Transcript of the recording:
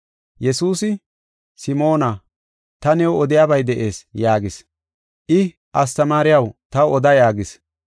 Yesuusi, “Simoona, ta new odiyabay de7ees” yaagis. I, “Astamaariyaw, taw oda” yaagis.